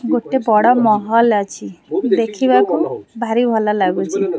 ଗୋଟେ ବଡ ମହଲ ଅଛି ଦେଖିବାକୁ ଭାରି ଭଲ ଲାଗୁଛି।